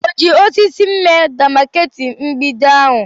O ji osisi mee demakeeti mgbidi ahụ?